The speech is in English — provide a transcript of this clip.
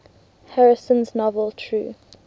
harrison's novel true